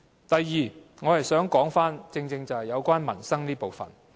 第二，我正正想說民生這部分。